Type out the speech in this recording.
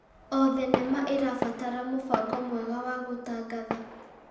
O thenema ĩrabatara mũbango mwega wa gũtangatha.